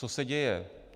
Co se děje?